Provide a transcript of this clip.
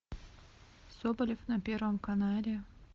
соболев на первом канале